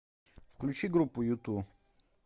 включи группу юту